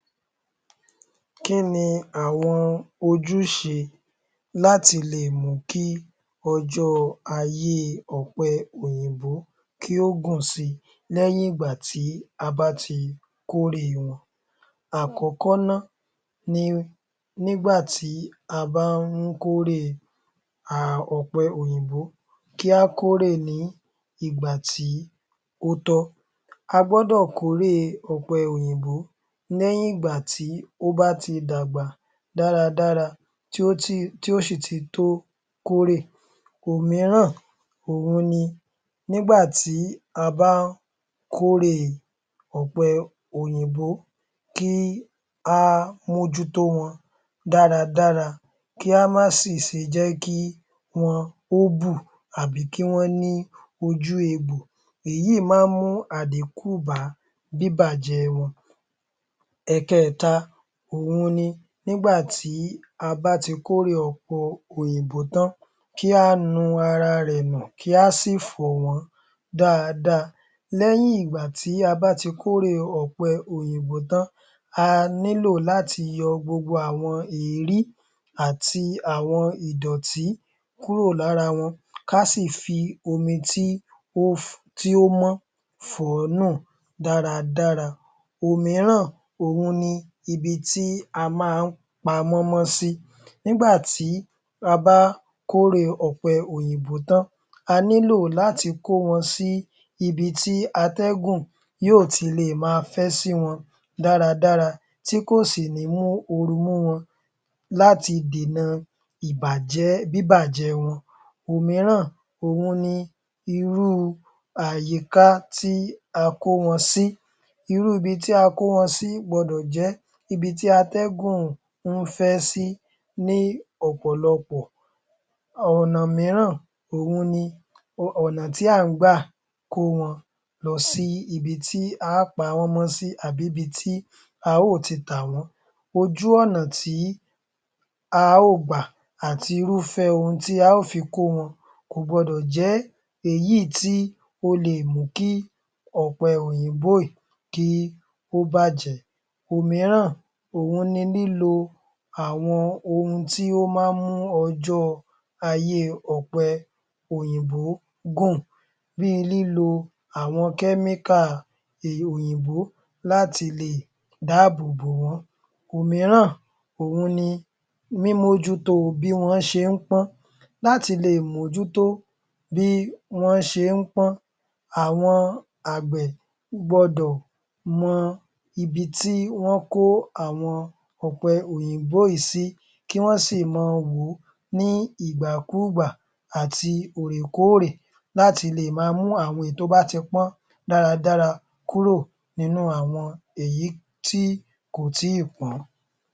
Kín ni àwọn ojúṣe láti lè mú ọjọ́ọ aáye ọ̀pẹ òyìnbó kí ó gùn si lẹ́yìn ìgbà tí a bá ti kórè wọn. Àkọ́kọ́ náà ni nígbà tí a bá ń kórè ọ̀pẹ òyìnbó kí á kórè nígbà tí ó tọ́. A gbọ́dọ̀ kórè ọ̀pẹ òyìnbó lẹ́yìn ìgbà tó bá ti dàgbà dáradára tí o sì ti tó kórè. Òmíràn ni nígbà tí a bá ń kórè ọ̀pẹ òyìnbó kí a mójútó wọn dáradára kí a máa sì ṣe jẹ́ kí wọn ó bù tàbí kí wọ́n ní ojú egbò èyí máa ń mú àdínkù bá bíbàjẹ́ wọn. Ẹ̀kẹta, òhun ni nígbà tí a bá ti kórè ọ̀pẹ òyìnbó tán kí a nu ara rẹ̀ nù kí á sì fọ̀ wọ́n dáadáa lẹ́yìn ìgbà tí a bá ti kórè ọ̀pẹ òyìnbó tán a nílò láti yọ gbogbo èérí àti gbogbo ìdọ̀tí kúrò lára wọn kí á sì fi omi tí ó mọ́ fọ̀ wọ́n dáradára. Òmíràn ni ibi tí a bá ń pamọ́ wọn sí nígbà tí a bá kórè ọ̀pẹ òyìnbó tán a nílò láti kó wọn sí ibi atẹ́gùn ibi tí atẹ́gùn yóò ti máa fẹ́ sí wọn dáradára láti dènà ìbàjẹ́ bíbàjẹ́ wọn. Òmíràn wọn ni irú àyíká tí a kó wọn sí irúu ibi tí a kó wọn sí gbọdọ̀ jẹ́ ibi tí atẹ́gùn ń fẹ́ sí ní ọ̀pọ̀lọpọ̀. Ọ̀nà mìíràn òhun ni ọ̀nà tí à ń gbà kó wọ́n lọ sí ibi tí à ń pa wọ́n mọ́ sí àbí ibi tí a óò ti tà wọ́n. Ojú ọ̀nà tí a óò gbà àti irúfẹ́ ohun tí a óò fi kó wọn kò gbọdọ̀ jẹ́ èyí tí yóò mú ọ̀pẹ òyìnbó tí yóò bàjẹ́. Òmíràn ni lílo ohun tó máa ń mú ayé àwọn ọ̀pẹ òyìnbó gún-ùn bí i lílo àwọn kẹ́míkà òyìnbó láti lè dáàbò bò wọ́n. Òmíràn ni mímójútó bí wọ́n ṣe ń pọ́n láti lè mójútó bí wọ́n ṣe ń pọ́n àwọn àgbẹ̀ gbọdọ̀ mọ ibi tí wọ́n kó àwọn ọ̀pẹ òyìnbó yìí sí kí wọ́n sì mọ wò ó ní ìgbàkúùgbà àti òòrè kóòrè láti lè máa mú àwọn tó bá ti pọ́n dáradára kúrò nínú àwọn èyí tí kò tí ì pọ́n.